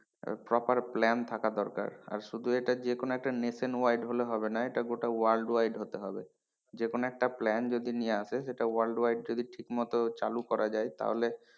Proper plan থাকা দরকার আর শুধু এটা যেকোনো একটা nation wide হলে হবে না এটা গোটা world wide হতে হবে যেকোনো একটা plan যদি নিয়ে আসে সেটা world wide ঠিকমত যদি চালু করা যায় তাহলে,